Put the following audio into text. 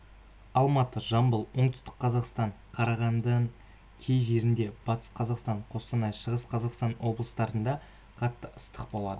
алматы жамбыл оңтүстік қазақстан қарағанды кей жерлерінде батыс қазақстан қостанай шығыс қазақстан облыстарында қатты ыстық болады